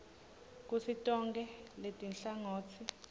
kutsi tonkhe letinhlangotsi